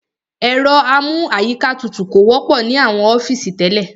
Ẹ̀rọ amú àyíká tutù kò wọ́pọ̀ ní àwọn ọ́fìsì tẹ́lẹ̀.